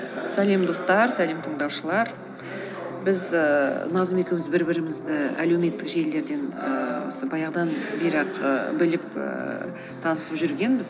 салем достар салем тыңдаушылар біз ііі назым екеуіміз бір бірімізді әлеуметтік желілерден ііі осы баяғыдан бері ақ ііі біліп ііі таңысып жүргенбіз